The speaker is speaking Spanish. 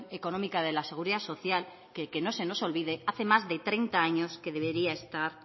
económica de la seguridad social que que no se nos olvide hace más de treinta años que debería estar